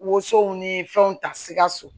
Woso ni fɛnw ta sikaso